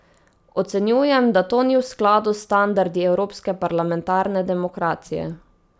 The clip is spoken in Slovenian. Ocenjujem, da to ni v skladu s standardi evropske parlamentarne demokracije.